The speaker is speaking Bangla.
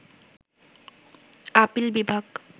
আপিল বিভাগ